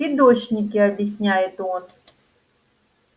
фидошники объясняет он